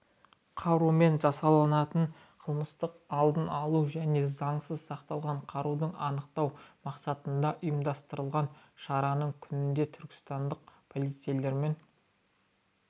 қарумен жасалынатын қылмыстық алдын алу және заңсыз сақталған қаруды анықтау мақсатында ұйымдастырылған шараның күнінде туркістандық полицейлермен